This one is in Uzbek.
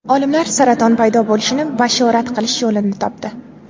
Olimlar saraton paydo bo‘lishini bashorat qilish yo‘lini topdi.